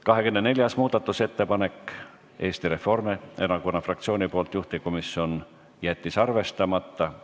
24. muudatusettepanek on Eesti Reformierakonna fraktsioonilt, juhtivkomisjon jättis arvestamata.